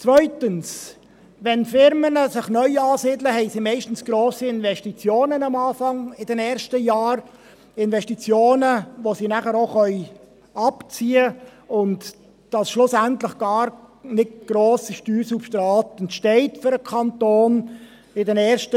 Zweitens: Wenn Unternehmen sich neu ansiedeln, haben sie am Anfang meistens in den ersten Jahren hohe Investitionen – Investitionen, welche sie nachher auch wieder abziehen können, und dadurch entsteht schlussendlich in den ersten Jahren kein grosses Steuersubstrat für den Kanton.